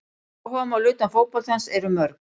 Áhugamál utan fótboltans eru mörg.